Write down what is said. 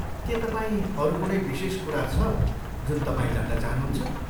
के तपाईँ अरू कुनै विशेष कुरा छ जुन तपाईँ जान्न चाहनुहुन्छ?